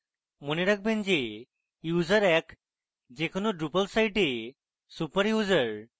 মনে রাখবেন যে user এক যে কোনো drupal site super user